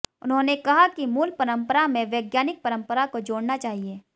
उन्होंने कहा कि मूल परम्परा में वैज्ञानिक परम्परा को जोड़ना चाहिये